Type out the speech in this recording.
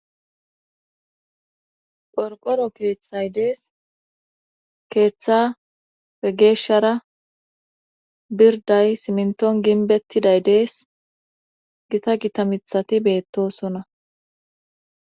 Qorqoro keeththay dees keeththa be geeshshara birday simnton ginbettiday dees gita gitamithati beettosona.